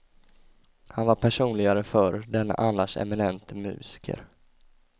Han var personligare förr denne annars eminente musiker.